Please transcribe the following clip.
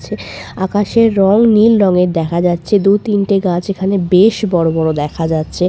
আকাশের রং নীল রঙের দেখা যাচ্ছে দু - তিনটে গাছ এখানে বেশ বড় বড় দেখা যাচ্ছে।